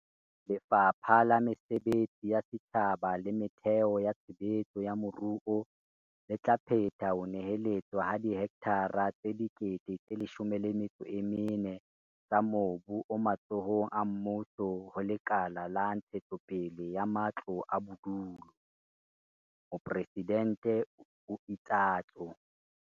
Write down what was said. "Lefapha la Mesebetsi ya Setjhaba le Metheo ya Tshe betso ya Moruo le tla phetha ho neheletswa ha dihektara tse 14 000 tsa mobu o matsohong a mmuso ho Lekala la Ntshetsopele ya Matlo a Bodulo," Mopresidente o itsatso.